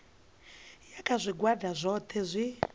ya kha zwigwada zwohe zwi